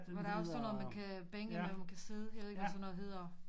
Hvor der også er sådan noget man kan bænke hvor man kan sidde jeg ved ikke hvad sådan noget hedder